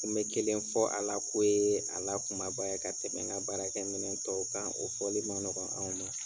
N be kelen fɔ a la k'o yee a la kumaba ye ka tɛmɛ ŋa baarakɛminɛn tɔw kan. O fɔli ma nɔgɔn anw ma.